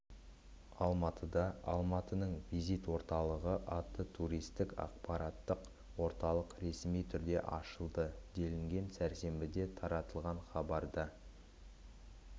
алматыда алматының визит орталығы атты туристік ақпараттық орталық ресми түрде ашылды делінген сәрсенбіде таратылған хабарда